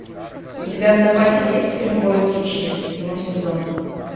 у тебя в запасе есть фильм город хищниц седьмой сезон